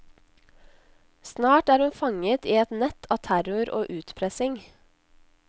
Snart er hun fanget i et nett av terror og utpressing.